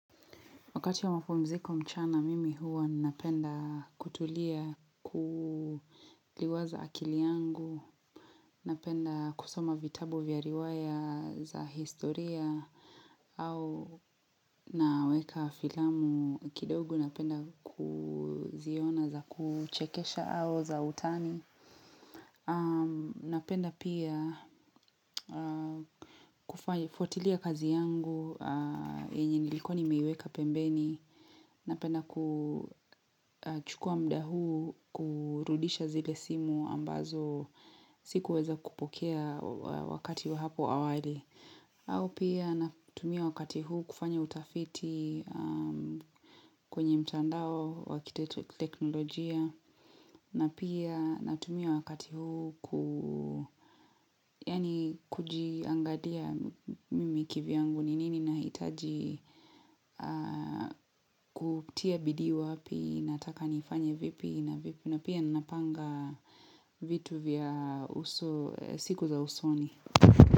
Wakati ya mapumziko mchana, mimi huwa napenda kutulia kuliwaza akili yangu, napenda kusoma vitabu vya riwaya za historia au naweka filamu kidogo napenda kuziona za kuchekesha au za utani. Napenda pia kufuatilia kazi yangu yenye nilikuwa nimeiweka pembeni Napenda kuchukua muda huu kurudisha zile simu ambazo sikuweza kupokea wakati wa hapo awali au pia natumia wakati huu kufanya utafiti kwenye mtandao wa kiteknolojia na pia natumia wakati huu yaani kujiangalia mimi kivyangu ni nini nahitaji kutia bidii wapi nataka niifanye vipi na pia ninapanga vitu vya siku za usoni.